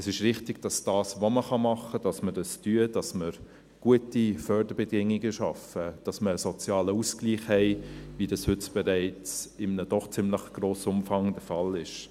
Es ist richtig, dass wir das tun, was man tun kann, dass wir gute Förderbedingungen schaffen, dass wir einen sozialen Ausgleich haben, wie das heute bereits in einem doch ziemlich grossen Umfang der Fall ist.